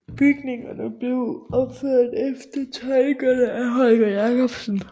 Bygningerne blev opført efter tegninger af Holger Jacobsen